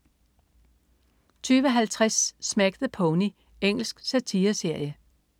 20.50 Smack the Pony. Engelsk satireserie